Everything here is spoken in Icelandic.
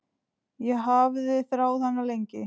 Ég hafði þráð hana lengi.